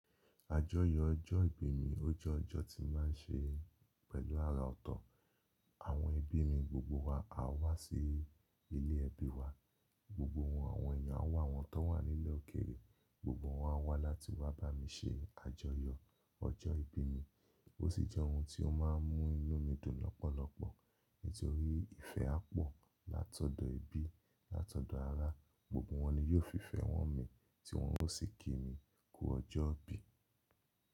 Àjọyọ̀ ọjọ́ ìbí mi ó jẹ́ ọjọ́ tí máa ń ṣe pẹ̀lú àrà ọ̀tọ̀. Àwọn ẹbí mi gbogbo wa á wá sí ilé ẹbí wa, gbogbo àwọn èèyàn á wá, àwọn tó wà nílẹ̀ òkèèrè gbogbo wọn á wá láti wá bá mi ṣe àjọyọ̀ ọjọ́ ìbí mi. Ó sì jẹ́ ohun tí ó máa ń mú inú mi dùn lọ́pọ̀lọpọ̀ nítorí ìfẹ́ á pọ̀ látọ̀dọ̀ ẹbí, látọ̀dọ̀ ará, gbogbo wọn ni yóò fi ìfẹ́ wọn mi tí wọn ó sì kí mi kú ọjọ́ ìbí.